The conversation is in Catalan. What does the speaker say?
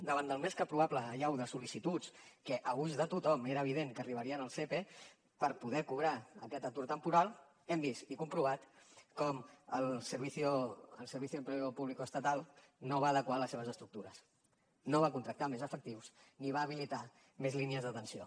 davant de la més que probable allau de sol·licituds que a ulls de tothom era evident que arribarien al sepe per poder cobrar aquest atur temporal hem vist i comprovat com el servicio del empleo público estatal no va adequar les seves estructures no va contractar més efectius ni va habilitar més línies d’atenció